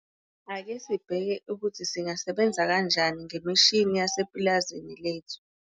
Ake sibheke ukuthi singasebenza kanjani ngemishini yasepulazini lethu.